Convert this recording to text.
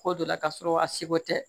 Ko dɔ la k'a sɔrɔ a seko tɛ